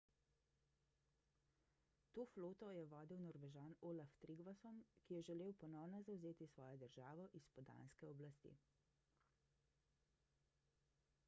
to floto je vodil norvežan olaf trygvasson ki je želel ponovno zavzeti svojo državo izpod danske oblasti